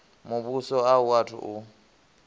muvhuso a u athu u